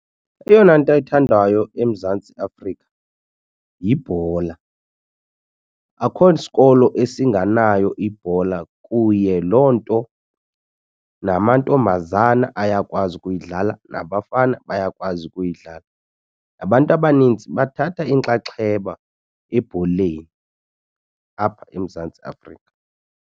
Eyona nto ethandwayo eMzantsi Afrika yibhola. Akho sikolo esinganayo ibhola kuye loo nto namantombazana ayakwazi ukuyidlala nabafana bayakwazi ukuyidlala. Abantu abanintsi bathatha inxaxheba ebholeni apha eMzantsi Afrika.